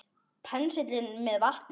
Penslið með vatni.